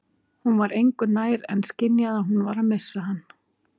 Hún var engu nær en skynjaði að hún var að missa hann.